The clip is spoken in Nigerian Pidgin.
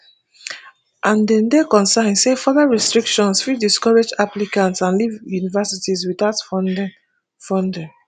and dem dey concern say further restrictions fit discourage applicants and leave universities witout funding funding